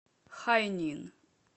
хайнин